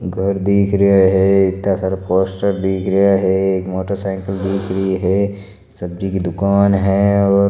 घर दिख रहा है इत्ता सारा पोस्टर दिख रहा है एक मोटर साइकल दिख रहा है सब्जी की दुकान है और --